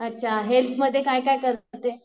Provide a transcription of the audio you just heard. अच्छा हेल्थमध्ये काय काय करते?